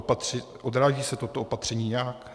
Odráží se toto opatření nějak?